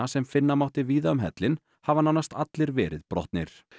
sem finna mátti víða um hellinn hafa nánast allir verið brotnir